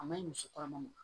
A maɲi muso kɔnɔma